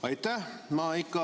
Aitäh!